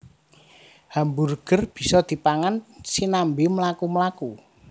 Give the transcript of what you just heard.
Hamburger bisa dipangan sinambi mlaku mlaku